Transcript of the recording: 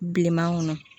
Bilenman kɔnɔ